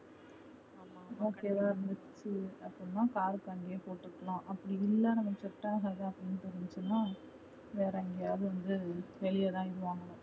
okay வா இருந்துச்சுன்னா அப்டினா car க்கு அங்கையே போட்டு விட்டுடலாம். அப்டி இல்ல நமக்கு set ஆகாது அப்டினு தோணுச்சுனா வேற எங்காவது வெளிய தா வாங்கணும்